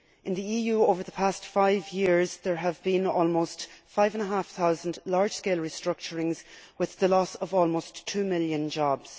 in the EU over the past five years, there have been almost five and half thousand large scale restructurings, with the loss of almost two million jobs.